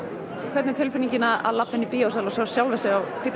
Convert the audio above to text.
hvernig er tilfinningin að labba inn í bíósal og sjá sjálfa sig á hvíta